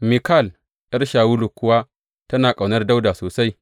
Mikal ’yar Shawulu kuwa tana ƙaunar Dawuda sosai.